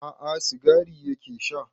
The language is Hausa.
A'a sigari yake sha